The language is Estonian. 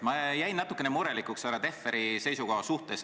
Ma jäin natuke murelikuks härra Tehveri seisukoha suhtes.